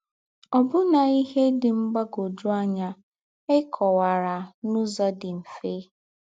Ọ́bụ́nà íhè dị́ mgbàgwọ́jụ̀ ànyá é kọ̀wàrà n’ứzọ̀ dí̄ mmẹ̀fè.